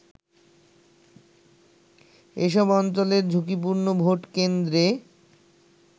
এসব অঞ্চলের ঝুঁকিপূর্ণ ভোটকেন্দ্রে